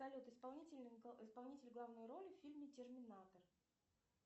салют исполнитель главной роли в фильме терминатор